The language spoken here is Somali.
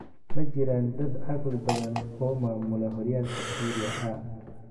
"Ma jiraan dad caqli badan oo maamula horyaalka Serie A?"